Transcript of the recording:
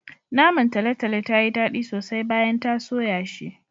Naman talotalo tayi daɗi sosai bayan ta soya shi.